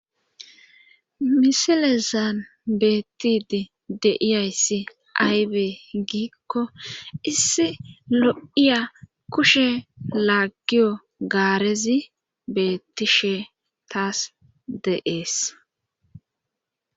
Misile zaan beettidi deiyayssi aybe giikko issi lo'iya kushe laaggiyo gaarezi beettishe taas deees.